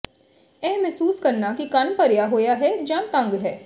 ਇਹ ਮਹਿਸੂਸ ਕਰਨਾ ਕਿ ਕੰਨ ਭਰਿਆ ਹੋਇਆ ਹੈ ਜਾਂ ਤੰਗ ਹੈ